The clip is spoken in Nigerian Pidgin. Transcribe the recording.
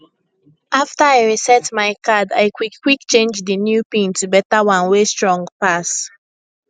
after i reset my card i quickquick change di new pin to beta one wey strong pass